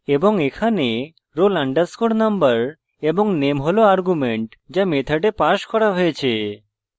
এবং এখানে roll _ number এবং name roll arguments যা method passed করা হয়েছে